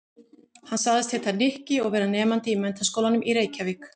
Hann sagðist heita Nikki og vera nemandi í Menntaskólanum í Reykjavík.